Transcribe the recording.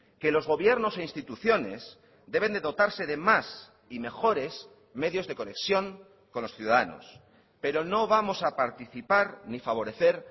que los gobiernos e instituciones deben de dotarse de más y mejores medios de conexión con los ciudadanos pero no vamos a participar ni favorecer